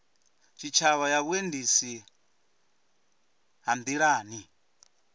tshitshavha ya vhuendisi ha nḓilani